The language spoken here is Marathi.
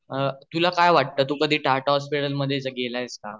तुला काय वाटत तू कधी टाटा हॉस्पिटल मध्य गेला आहेस का